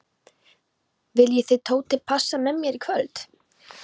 Viljið þið Tóti passa með mér í kvöld?